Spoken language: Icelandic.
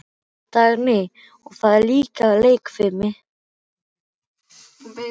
Dagný: Og það er líka leikfimi.